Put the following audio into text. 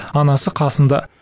анасы қасында